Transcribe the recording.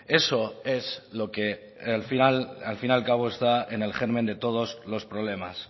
eso es lo que al fin y al cabo está en el germen de todos los problemas